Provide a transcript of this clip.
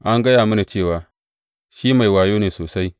An gaya mini cewa shi mai wayo ne sosai.